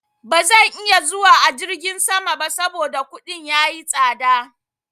Ba zan iya zuwa a jirgin sama ba saboda kuɗin ya yi tsaɗa.